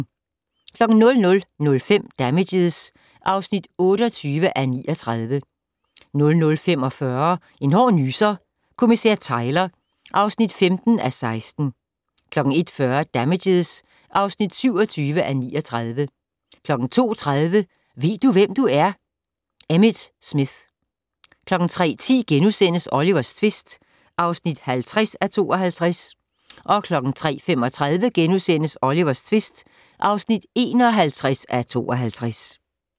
00:05: Damages (28:39) 00:45: En hård nyser: Kommissær Tyler (15:16) 01:40: Damages (27:39) 02:30: Ved du hvem du er? - Emmitt Smith 03:10: Olivers tvist (50:52)* 03:35: Olivers tvist (51:52)*